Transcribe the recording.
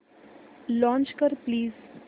launch कर please